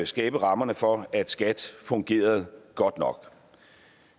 skabe rammerne for at skat fungerede godt nok